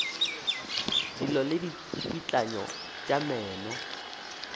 dillo le ditsikitlano tša meno